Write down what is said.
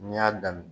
N'i y'a daminɛ